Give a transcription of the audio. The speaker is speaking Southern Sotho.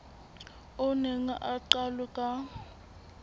o neng o qalwe ka